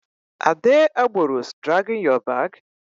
Are they agberoes dragging ur bag?